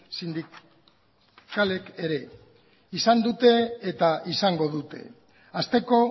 sindikalek ere izan dute eta izango dute hasteko